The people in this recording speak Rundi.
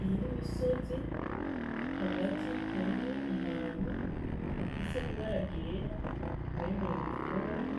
Iyi n'imisozi hagati harimwo ahantu hafise ibara ryera umengo n'igipfungu